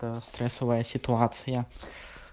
та стрессовая ситуация